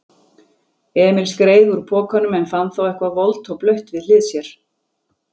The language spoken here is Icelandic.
Emil skreið úr pokanum en fann þá eitthvað volgt og blautt við hlið sér.